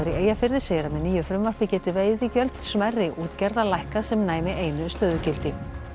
Eyjafirði segir að með nýju frumvarpi gætu veiðigjöld smærri útgerða lækkað sem næmi einu stöðugildi